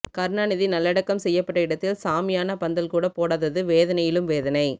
கருணாநிதி நல்லடக்கம் செய்யப்பட்ட இடத்தில் ஷாமியானா பந்தல் கூட போடாதது வேதனையிலும் வேதனை